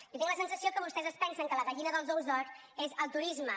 jo tinc la sensació que vostès es pensen que la gallina dels ous d’or és el turisme